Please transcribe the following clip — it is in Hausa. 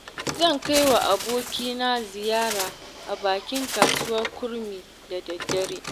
Zan kaiwa abokina ziyara a bakin kasuwar kurmi, da daddare.